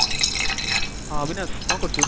ହଁ, ଅବିନାଶ କଣ କରୁଛୁ?